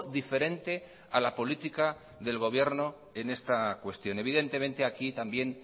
diferente a la política del gobierno en esta cuestión evidentemente aquí también